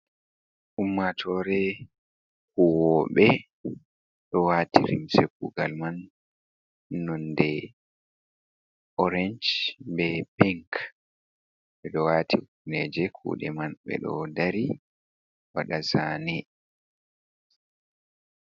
Ummatore huwobe do wati rimse kugal man nonde orance, be pink be do wati kufneje kude man, ɓe ɗo dari wada zane.